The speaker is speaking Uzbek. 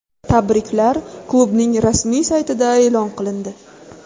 Tabriklar klubning rasmiy saytida e’lon qilindi .